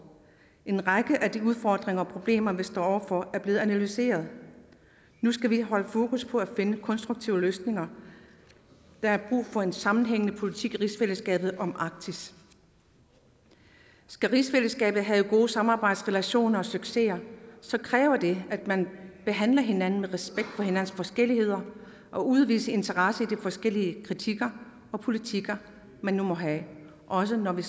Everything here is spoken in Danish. en række af de udfordringer og problemer vi står over for er blevet analyseret nu skal vi holde fokus på at finde konstruktive løsninger der er brug for en sammenhængende politik i rigsfællesskabet om arktis skal rigsfællesskabet have gode samarbejdsrelationer og succeser kræver det at man behandler hinanden med respekt for hinandens forskelligheder og udviser interesse i de forskellige kritikker og politikker man nu måtte have også når vi